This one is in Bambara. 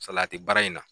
Salati baara in na